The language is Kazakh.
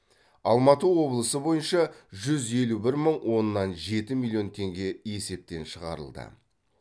алматы облысы бойынша жүз елу бір мың оннан жеті миллион теңге есептен шығарылды